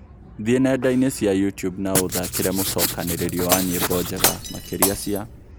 thĩĩ nendaini cĩa youtube na uthakire mucokaniririo wa nyĩmbo njega makĩrĩa cĩa